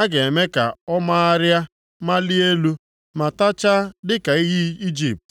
a ga-eme ka ọ magharịa malie elu, ma tachaa dịka iyi Ijipt.